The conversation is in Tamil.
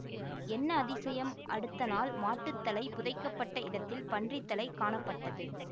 என்ன அதிசயம் அடுத்த நாள் மாட்டுத்தலை புதைக்கப்பட்ட இடத்தில் பன்றித்தலை காணப்பட்டது